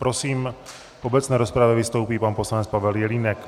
Prosím, v obecné rozpravě vystoupí pan poslanec Pavel Jelínek.